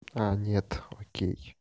а нет окей